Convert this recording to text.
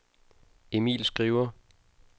Emil Skriver